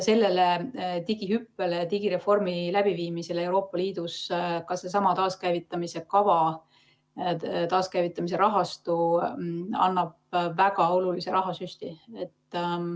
Sellele digihüppele ja digireformi läbiviimisele Euroopa Liidus annab ka seesama taaskäivitamise kava, taaskäivitamise rahastu väga olulise rahasüsti.